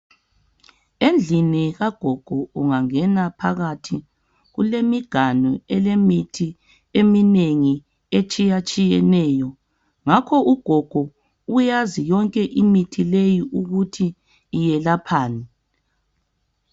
Endlini kagogo ungangena phakathi kulemiganu elemithi eminengi etshiyatshiyeneyo ngakho ugogo uyazi yonke imithi leyi ukuthi iyelaphani